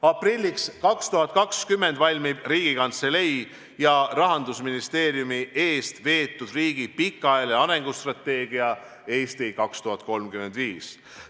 Aprilliks 2020 valmib Riigikantselei ja Rahandusministeeriumi eestveetud riigi pikaajaline arengustrateegia "Eesti 2035".